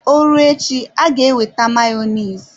Ọ rụọ echi aga ewete Mayonezi.